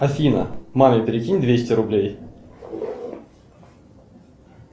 афина маме перекинь двести рублей